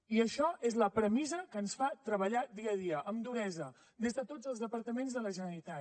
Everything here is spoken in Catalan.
i això és la premissa que ens fa treballar dia a dia amb duresa des de tots els departaments de la generalitat